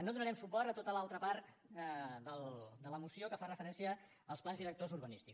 no donarem suport a tota l’altra part de la moció que fa referència als plans directors urbanístics